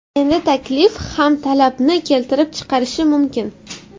Endi taklif ham talabni keltirib chiqarishi mumkin.